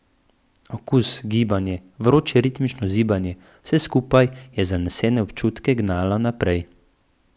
Okus, gibanje, vroče ritmično zibanje, vse skupaj je zanesene občutke gnalo naprej.